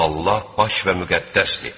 Allah baş və müqəddəsdir.